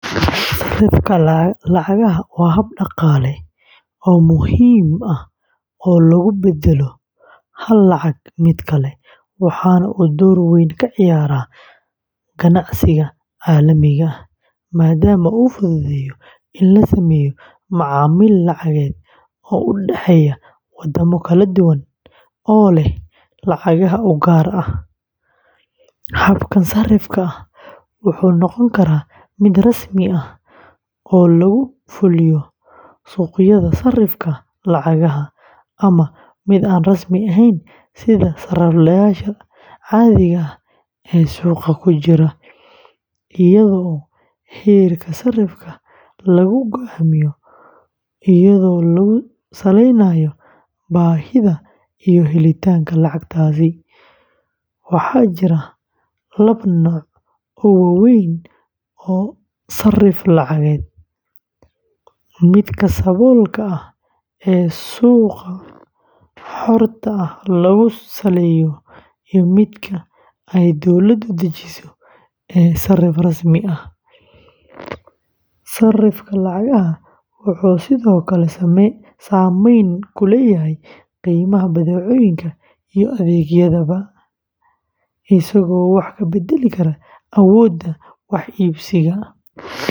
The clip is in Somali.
Sarrifka lacagaha waa hab dhaqaale oo muhiim ah oo lagu beddelo hal lacag mid kale, waxaana uu door weyn ka ciyaaraa ganacsiga caalamiga ah, maadaama uu fududeeyo in la sameeyo macaamil lacageed oo u dhexeeya waddamo kala duwan oo leh lacagaha u gaar ah. Habkan sarrifka ah wuxuu noqon karaa mid rasmi ah oo lagu fuliyo suuqyada sarrifka lacagaha ama mid aan rasmi ahayn sida sarifleyaasha caadiga ah ee suuqa ku jira, iyadoo heerka sarrifka lagu go'aamiyo iyadoo lagu salaynayo baahida iyo helitaanka lacagtaasi. Waxaa jira laba nooc oo waaweyn oo sarrif lacageed: midka saboolka ah ee suuqa xorta ah lagu saleeyo iyo midka ay dawladu dejiso ee sarrif rasmi ah. Sarrifka lacagaha wuxuu sidoo kale saameyn ku leeyahay qiimaha badeecooyinka iyo adeegyadaba, isagoo wax ka beddeli kara awoodda wax iibsiga.